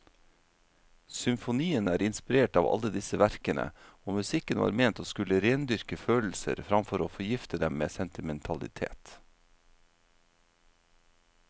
Symfonien er inspirert av alle disse verkene, og musikken var ment å skulle rendyrke følelser framfor å forgifte dem med sentimentalitet.